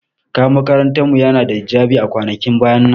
Kayan makarantar mu yana da hijabi a kwanakin baya nan.